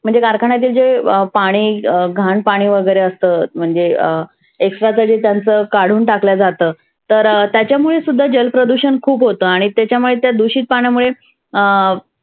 म्हणजे कारखाण्यातील जे पाणि घान पाणि वगैरे जे असतं. म्हणजे अं extra कधी त्यांच काढुन टाकल्या जातं. तर त्याच्यामुळे सुद्धा जल प्रदुषन होतं. आणि त्याच्यामुळे त्या दुषित पाण्यामुळे अं